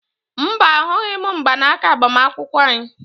Mba, ahụghị m mgbanaka agbamakwụkwọ anyị